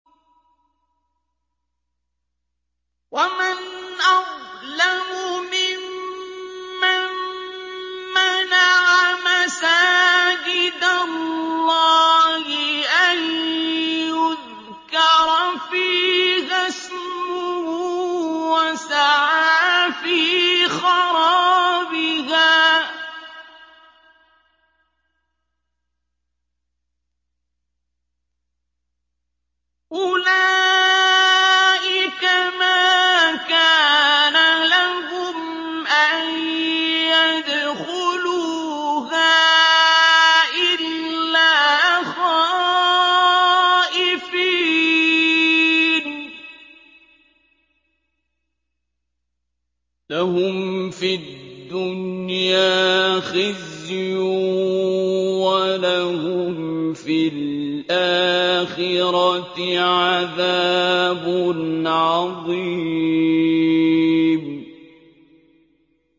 وَمَنْ أَظْلَمُ مِمَّن مَّنَعَ مَسَاجِدَ اللَّهِ أَن يُذْكَرَ فِيهَا اسْمُهُ وَسَعَىٰ فِي خَرَابِهَا ۚ أُولَٰئِكَ مَا كَانَ لَهُمْ أَن يَدْخُلُوهَا إِلَّا خَائِفِينَ ۚ لَهُمْ فِي الدُّنْيَا خِزْيٌ وَلَهُمْ فِي الْآخِرَةِ عَذَابٌ عَظِيمٌ